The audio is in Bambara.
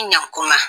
Ɲankuma